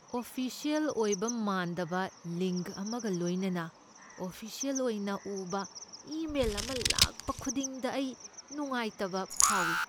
Official ꯑꯣꯏꯕ ꯃꯥꯟꯗꯕ link ꯑꯃꯒ ꯂꯣꯏꯅꯅ ꯑꯣꯐꯤꯁꯤꯑꯦꯜ ꯑꯣꯏꯅ ꯎꯕ ꯏꯃꯦꯜ ꯑꯃ ꯂꯥꯛꯄ ꯈꯨꯗꯤꯡꯗ ꯑꯩ ꯅꯨꯡꯉꯥꯏꯇꯕ ꯐꯥꯎꯏ꯫